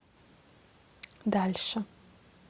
дальше